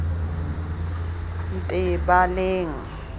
ntebaleng